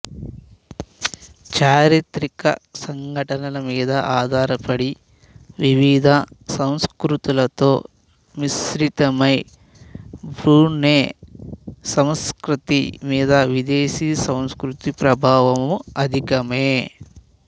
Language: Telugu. చారిత్రక సంఘటనల మీద ఆధార పడి వివిధ సంస్ఖృతులతో మిశ్రితమై బ్రూనై సమ్స్కృతి మీద విదేశీ సంస్కృతి ప్రభావము అధికమే